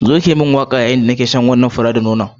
Zo ki yi mun waka a yayun da nike jin daɗin shan wannan fura da nono